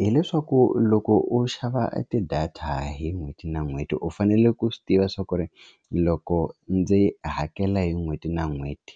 Hi leswaku loko u xava ti-data hi n'hweti na n'hweti u fanele ku swi tiva swa ku ri loko ndzi hakela hi n'hweti na n'hweti